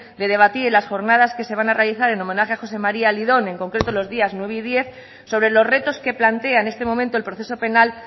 de debatir en las jornadas que se van a realizar en homenaje a josé maría lidón en concreto los días nueve y diez sobre los retos que plantea en este momento el proceso penal